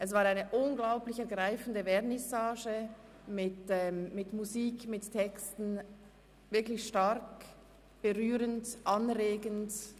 Es war eine unglaublich ergreifende Vernissage mit Musik und Texten – wirklich stark berührend und anregend.